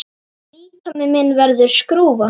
Líkami minn verður skrúfa.